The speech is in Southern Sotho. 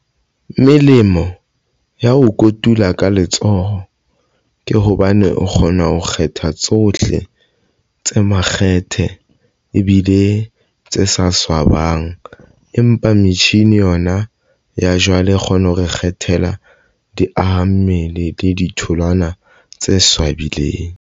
Melemo ya ho kotula ka letsoho ke hobane o kgona ho kgetha tsohle tse makgethe ebile tse sa swabang empa metjhini yona ya jwale e kgona ho re kgethela diaha mmele le ditholwana tse swabileng.